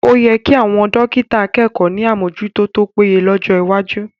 O yẹ kí àwọn dọ́kítà akẹ́kọ̀ọ́ ní àmójútó tó péye lọ́jọ́ iwájú